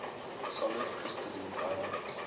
solid crystalline ionic